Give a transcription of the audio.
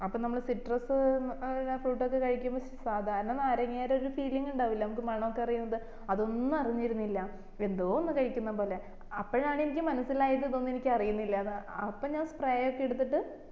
അപ്പൊ നമ്മളെ citrus ഏർ fruit ഒക്കെ കഴിക്കുമ്പോ സാദാരണ നാരങ്ങേടെ ഒരു feeling ഉണ്ടാവില്ലേ നമ്മക്ക് മണൊക്കെ അറിയുന്നത് അതൊന്നും അറിഞ്ഞിരുന്നില്ല എന്തോ ഒന്ന് കഴിക്കുന്ന പോലെ അപ്പോഴാണ് എനിക്ക് മനസ്സിലായത് എനിക്ക് ഇതൊന്നും അറിയുന്നില്ലാന്ന് അപ്പൊ ഞാൻ spray ഒക്കെ എടുത്തിട്ട്